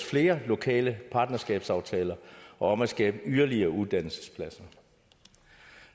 flere lokale partnerskabsaftaler om at skabe yderligere uddannelsespladser